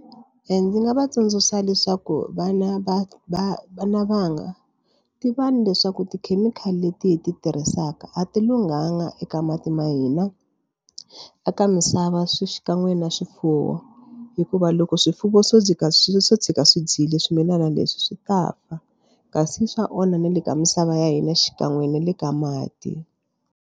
Ndzi nga va tsundzuxa leswaku vana va va vana vanga ti va ni leswaku tikhemikhali leti hi ti tirhisaka a ti lunghanga eka mati ma hina a ka misava swi xikan'we na swifuwo hikuva loko swifuwo swo swo tshuka swi dyile swimilana leswi swi ta fa kasi swa onha na le ka misava ya hina xikan'we na le ka mati.